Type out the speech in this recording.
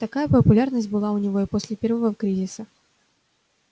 такая популярность была у него и после первого кризиса